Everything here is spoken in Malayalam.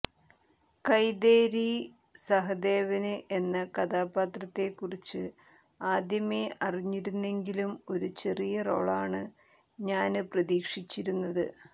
കൈതേരി സഹദേവന് എന്ന കഥാപാത്രത്തെക്കുറിച്ച് ആദ്യമേ അറിഞ്ഞിരുന്നെങ്കിലും ഒരു ചെറിയ റോളാണ് ഞാന് പ്രതീക്ഷിച്ചിരുന്നത്